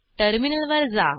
terminal वर जा